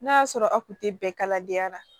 N'a y'a sɔrɔ a kun tɛ bɛn kaladenya la